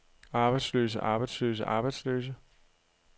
arbejdsløse arbejdsløse arbejdsløse